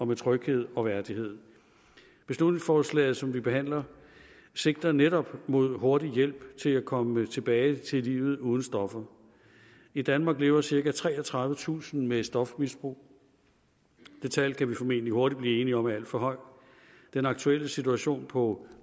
med tryghed og værdighed beslutningsforslaget som vi behandler sigter netop mod hurtig hjælp til at komme tilbage til livet uden stoffer i danmark lever cirka treogtredivetusind med et stofmisbrug det tal kan vi formentlig hurtigt blive enige om er alt for højt den aktuelle situation på